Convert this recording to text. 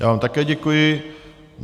Já vám také děkuji.